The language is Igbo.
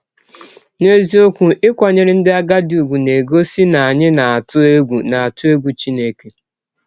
N’eziọkwụ, ịkwanyere ndị agadi ụgwụ na - egọsi na anyị na - atụ egwụ atụ egwụ Chineke!